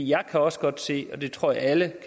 jeg kan også godt se og det tror jeg alle